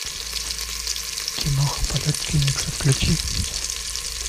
киноха полет феникса включи